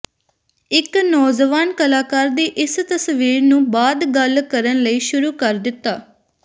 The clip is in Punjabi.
ਇੱਕ ਨੌਜਵਾਨ ਕਲਾਕਾਰ ਦੀ ਇਸ ਤਸਵੀਰ ਨੂੰ ਬਾਅਦ ਗੱਲ ਕਰਨ ਲਈ ਸ਼ੁਰੂ ਕਰ ਦਿੱਤਾ